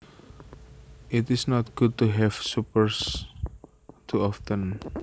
It is not good to have suppers too often